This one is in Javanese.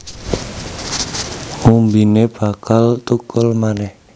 Umbine bakal thukul manèh